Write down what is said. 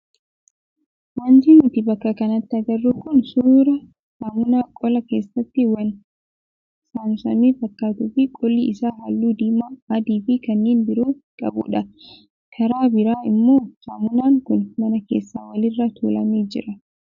Wanti nuti bakka kanatti agarru kun suuraa saamunaa qola keessatti waan saamsame fakkaatuu fi qolli isaa halluu diimaa, adii fi kanneen biroo qabudha. Karaa biraa immoo saamunaan kun mana keessa walirra tuulamee jira.